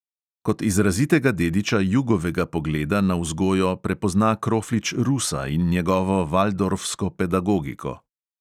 Kot izrazitega dediča jugovega pogleda na vzgojo prepozna kroflič rusa in njegovo valdorfsko pedagogiko.